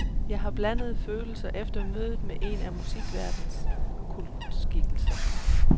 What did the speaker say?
Jeg har blandede følelser efter mødet med en af musikverdenens kultskikkelser.